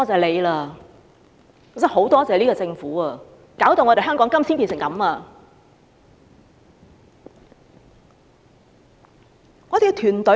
我真的很"多謝"這個政府，搞到香港現在變成這樣。